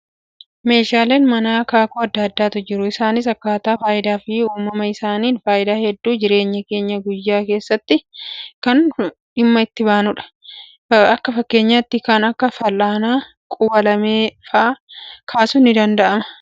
Meeshaaleen manaa akaakuu addaa addaatu jiru. Isaanis akkaataa fayidaa fi uumama isaaniin fayidaa hedduu jireenya keenya guyyaa guyyaa keessatti dhimma itti baanudha. Akka fakkeenyaatti kan akka fal'aana, quba-lamee fa'aa kaasuun ni danda'ama.